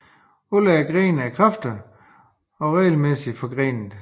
Alle grene er kraftige og regelmæssigt forgrenede